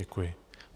Děkuji.